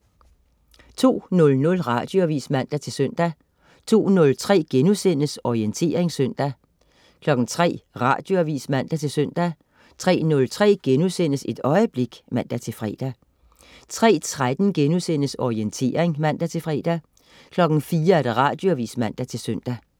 02.00 Radioavis (man-søn) 02.03 Orientering søndag* 03.00 Radioavis (man-søn) 03.03 Et øjeblik* (man-fre) 03.13 Orientering* (man-fre) 04.00 Radioavis (man-søn)